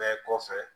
Bɛɛ kɔfɛ